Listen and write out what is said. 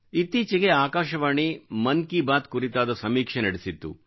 ಇತ್ತೀಚೆಗೆ ಆಕಾಶವಾಣಿ ಮನ್ ಕಿ ಬಾತ್ ಕುರಿತಾದ ಸಮೀಕ್ಷೆ ನಡೆಸಿತ್ತು